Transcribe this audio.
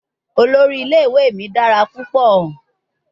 Olori ile-iwe mi dara pupọ